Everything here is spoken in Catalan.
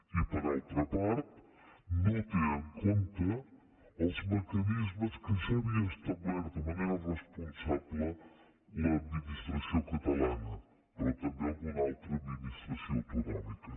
i per altra part no té en compte els mecanismes que ja havia establert de manera responsable l’administració catalana però també alguna altra administració autonòmica